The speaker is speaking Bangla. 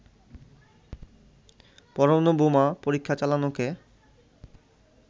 পরমাণু বোমা পরীক্ষা চালানোকে